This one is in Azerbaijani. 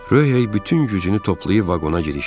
Röh hey bütün gücünü toplayıb vaqona girişdi.